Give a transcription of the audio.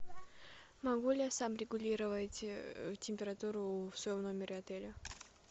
могу ли я сам регулировать температуру в своем номере отеля